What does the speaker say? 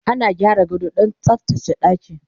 ana gyara gado Dan tsaftace ɗaki